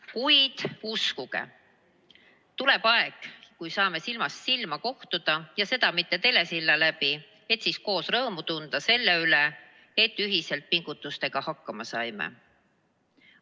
Kuid uskuge, tuleb aeg, kui saame silmast silma kohtuda, ja seda mitte läbi telesilla, et siis koos rõõmu tunda selle üle, et ühiselt pingutustega hakkama saime.